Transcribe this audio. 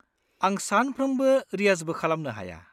-आं सानफ्रोमबो रियाजबो खालामनो हाया।